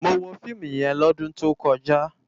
Mó wó fiimú yèn lòdún tókòjá